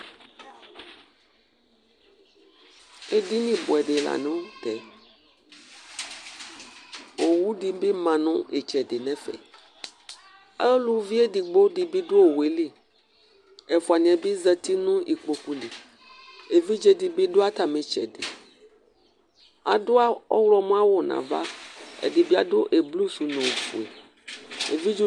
eɗɩniɓʊɔɗɩ lanʊtɛ owʊɗɩɓɩ manʊ ɩtsɛɗɩ nɛfɛ ʊlʊeɗɩgɓoɗɩ ɔɗʊ owʊƴɛlɩ ɛfʊanɩɛɓɩ ɔzatɩnʊ iƙpoƙʊlɩ eʋɩɗjeɗɩɓɩ ɗʊ atamɩ ɩtsɛɗɩ aɗʊ ɔhlɔmɔawʊ naʋa ɛɗɩɓɩaɗʊ aʋaʋlɩsʊ ɗʊnʊ ofʊe